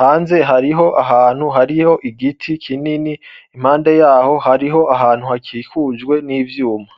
Hanze hariho ahantu hariho igiti kinini, impande yaco ,hariho ahantu hakikujwe n'ivyuma.